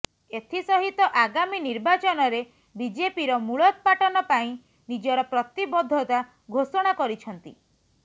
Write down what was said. ଏଥିସହିତ ଆଗାମୀ ନିର୍ବାଚନରେ ବିଜେପିର ମୂଳୋତ୍ପାଟନ ପାଇଁ ନିଜର ପ୍ରତିବଦ୍ଧତା ଘୋଷଣା କରିଛନ୍ତି